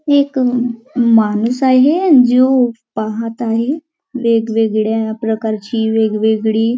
एक माणूस आहे जो पाहत आहे वेगवेगळ्या प्रकारची वेगवेगळी--